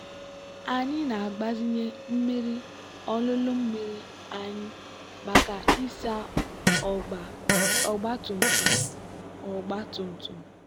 anyị na-agbazinye mmiri olulu mmiri anyị maka ịsa ọgba tum tum. ọgba tum tum.